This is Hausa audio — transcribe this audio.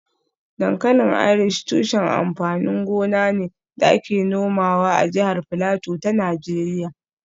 Dankalin Irish tushen amfanin gona ne da ake nomawa a jihar Filato ta Najeriya